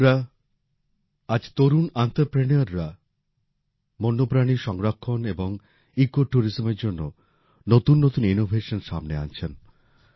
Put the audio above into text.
বন্ধুরা আজ তরুণ অন্ত্রপ্রেনাররা বন্যপ্রাণী সংরক্ষণ এবং ইকোট্যুরিজমের জন্য নতুন নতুন ইনোভেশন সামনে আনছেন